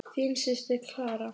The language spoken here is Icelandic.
Þín systir, Clara.